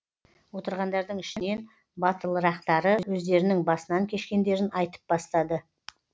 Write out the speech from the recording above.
отырғандардың ішінен батылырақтары өздерінің басынан кешкендерін айтып бастады